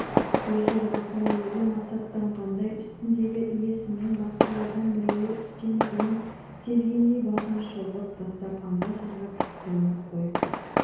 өз жорғасына өзі масаттанғандай үстіндегі иесімін басқалардан мерейі үстем екенін сезгендей басын шұлғып тастап анда-санда пысқырынып қойып бір